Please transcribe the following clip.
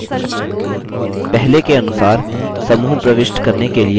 पहले के अनुसार समूह प्रविष्ट करने के लिए इस पर doubleclick करें